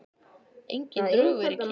Engin drög verið kynnt